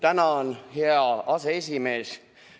Tänan, hea aseesimees!